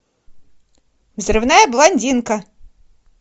взрывная блондинка